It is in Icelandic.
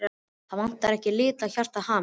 Það vantar ekki að litla hjartað hamist.